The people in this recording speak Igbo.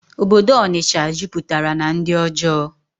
Obodo Ọnịsha juputara na ndi ojọọ